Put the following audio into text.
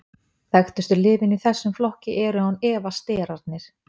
þekktustu lyfin í þessum flokki eru án efa sterarnir